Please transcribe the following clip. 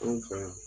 Anw fɛ yan